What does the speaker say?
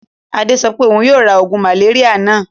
Adé sọ pé òun yóò ra oògùn màléríà náà?